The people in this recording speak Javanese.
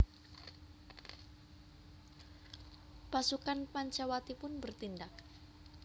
Pasukan Pancawati pun bertindak